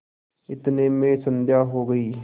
इतने में संध्या हो गयी